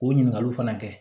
O ɲininkaliw fana kɛ